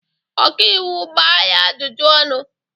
Ọka iwu gbaa ya ajụjụ ọnụ!